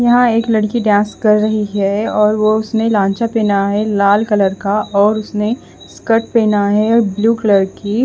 यहाँ एक लड़की डांस कर रही है और वो उसने लालचा पेहना है लाल कलर का और उसने स्कर्ट पेहना है ब्लू कलर की--